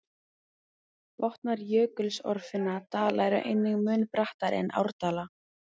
Botnar jökulsorfinna dala eru einnig mun brattari en árdala.